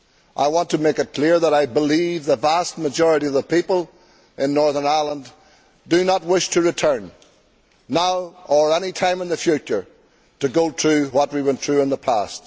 I want to make it clear that I believe that the vast majority of the people of Northern Ireland do not wish to return now, or any time in the future, to what we went through in the past.